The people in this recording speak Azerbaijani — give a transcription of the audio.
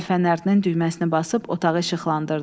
Əl fənərinin düyməsini basıb otağı işıqlandırdı.